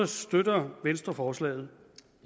støtter venstre forslaget